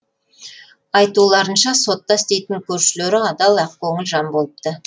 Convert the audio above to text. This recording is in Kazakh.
айтуларынша сотта істейтін көршілері адал ақкөңіл жан болыпты